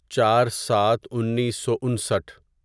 چار سات انیسو انسٹھ